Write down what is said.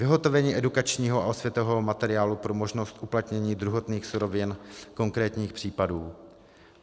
Vyhotovení edukačního a osvětového materiálu pro možnost uplatnění druhotných surovin konkrétních případů.